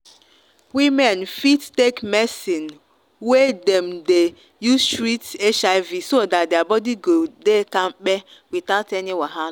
women fit take medicine wey dem dey use treat hiv so that their body go dey kampe without any waha.